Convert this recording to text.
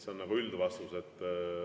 See on nagu üldvastus.